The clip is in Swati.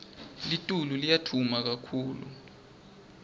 litulu liya duma kakhulu